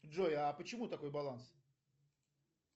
джой а почему такой баланс